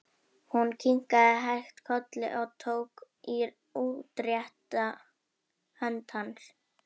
Hún kinkaði hægt kolli og tók í útrétta hönd hans.